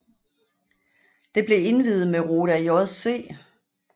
Det blev indviet mod Roda JC